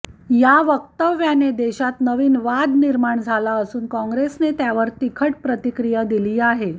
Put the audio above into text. या वक्तव्याने देशात नवीन वाद निर्माण झाला असून कॉँग्रेसने त्यावर तिखट प्रतिक्रिया दिली आहे